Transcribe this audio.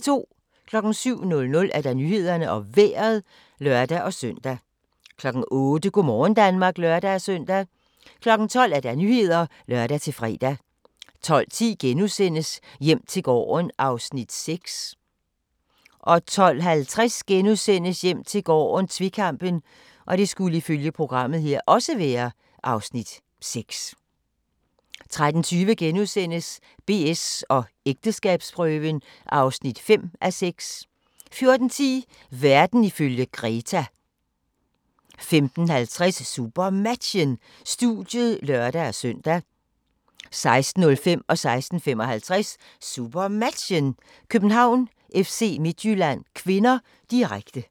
07:00: Nyhederne og Vejret (lør-søn) 08:00: Go' morgen Danmark (lør-søn) 12:00: Nyhederne (lør-fre) 12:10: Hjem til gården (Afs. 6)* 12:50: Hjem til gården - tvekampen (Afs. 6)* 13:20: BS & ægteskabsprøven (5:6)* 14:10: Verden ifølge Greta 15:50: SuperMatchen: Studiet (lør-søn) 16:05: SuperMatchen: København-FC Midtjylland (k), direkte 16:55: SuperMatchen: København-FC Midtjylland (k), direkte